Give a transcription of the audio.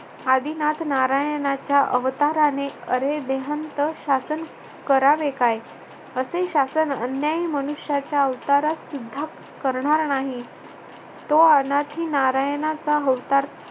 आदिनाथ नारायणाच्या अवताराने अरे देहांत शासन करावे काय असे शासन अन्यायी मनुष्याच्या अवतारात सुद्धा करणार नाही. तो अनादी नारायणाचा अवतार